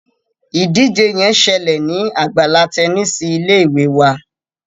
ìdíje yén ṣẹlẹ ní Àgbàlá Tẹníìsì ilé ìwé wá.